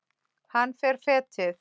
Hann fer fetið.